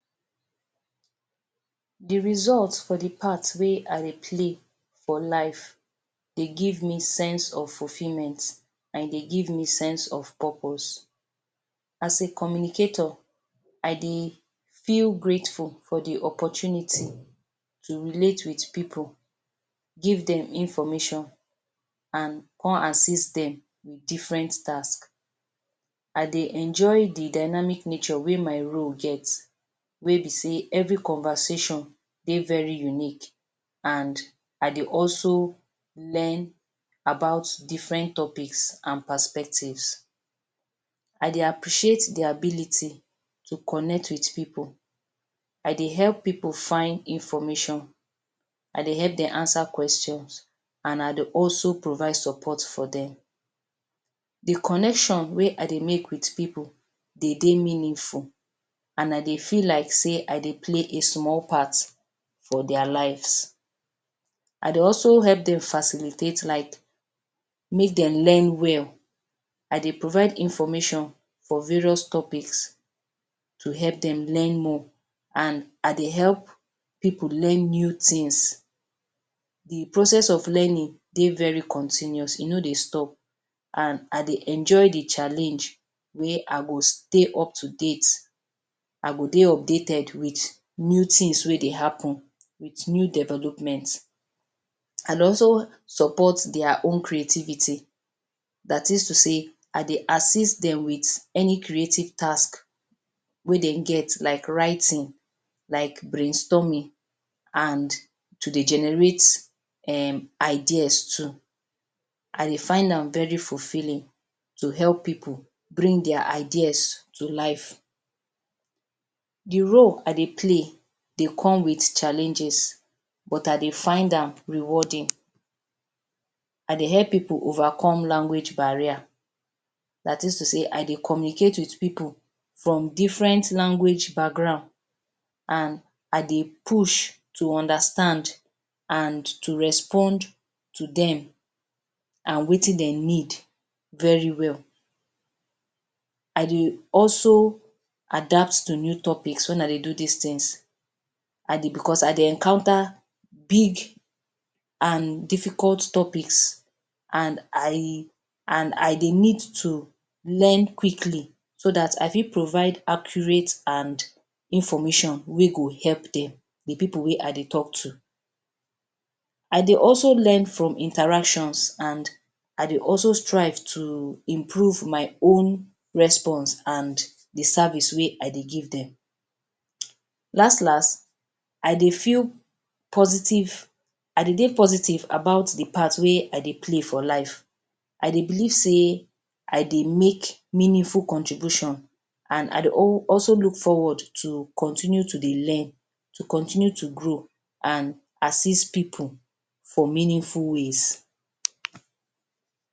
Di result for di part wey I dey play for life dey give me sense of fulfilment and e dey give me sense of purpose. As a communicator I dey feel grateful for di opportunity to relate wit pipu give dem information come assist dem wit diffren task.i dey enjoy di dynamic nature wey my role get wey be say evri conversation dey very unique and I dey also learn about diffren topics and perspectives. I dey appreciate di ability to connect with pipu. I dey help pipu find information, I dey help dem ansa questions and I dey also provide support for dem. Di connection wey I dey make wit pipu dey dey meaniful and I dey feel like say I dey play a small part for dia lives. I dey also help dem facilitate like may dem learn wel. I dey provide information for various topics to help dem learn more and i dey help pipu learn new tins. Di process of learning dey very continuously, e no dey stop and I dey enjoy di challenge wey I go stay up to date, I go dey updated wit new tins wey dey happun with new development. I dey also support dia own creativity dat is to say I dey assist dem wit any creative task wey dem get like writing, like brain storming and to dey generate ideas too. I dey find am very fulfilling to help pipu bring dia ideas to life. Di role I dey play dey come wit challenges but I dey find am rewarding. I dey help pipu overcome language barriers, dat is to say I dey communicate wit pipu from diffren language background and I dey push to understand and to respond to dem and wetin dem need very well. I dey also adapt to new topics wen I dey do dis tins. Bicos I dey encounter big difficult topics and i dey need to learn quickly so dat I fit provide accurate and information wey go help dem di pipu wey I dey tok to. I dey also learn from interaction and I dey also strive to improve my own responds and di service wey I dey give dem, last last I dey dey positive about di parts wey I dey play for life I dey belive say I dey make meaniful contribution and I de also look forward to continue to dey learn, to continue to grow and assist pipu for meaningful ways.